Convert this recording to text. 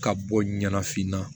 Ka bɔ ɲɛnafin na